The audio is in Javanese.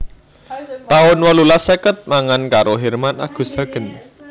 taun wolulas seket mangan karo Herman Agus Hagen